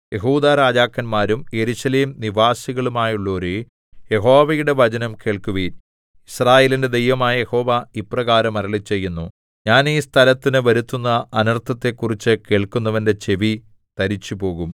യെഹൂദാരാജാക്കന്മാരും Jerusalem നിവാസികളുമായുള്ളോരേ യഹോവയുടെ വചനം കേൾക്കുവിൻ യിസ്രായേലിന്റെ ദൈവമായ യഹോവ ഇപ്രകാരം അരുളിച്ചെയ്യുന്നു ഞാൻ ഈ സ്ഥലത്തിന് വരുത്തുന്ന അനർത്ഥത്തെക്കുറിച്ച് കേൾക്കുന്നവന്റെ ചെവി തരിച്ചുപോകും